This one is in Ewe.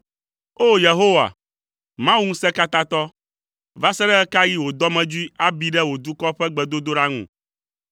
O! Yehowa, Mawu Ŋusẽkatãtɔ, va se ɖe ɣe ka ɣi wò dɔmedzoe abi ɖe wò dukɔ ƒe gbedodoɖa ŋu?